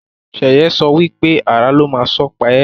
Sheye sọ wípé "Àrà ló má sàn pa e"